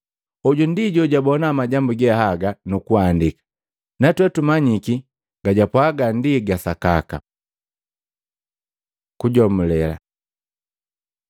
Hoju ndi jojagabona majambu ge haga, nukuandika. Natwee tumanyiki gajapwaga ndi ga sakaka. Kujomulela